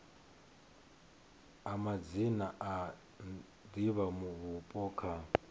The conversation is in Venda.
a madzina a divhavhupo kha